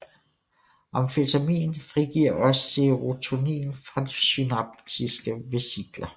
Amfetamin frigiver også serotonin fra synaptiske vesikler